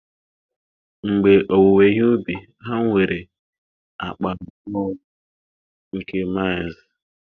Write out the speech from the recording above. mgbe owuwe ihe ubi ha nwere akpa abụọ nke maz